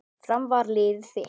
Fram var liðið þitt.